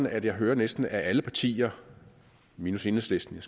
at jeg hører at næsten alle partier minus enhedslisten